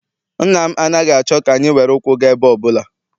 Nna m anaghị achọ ka anyị were ụkwụ gaa ebe ọbụla.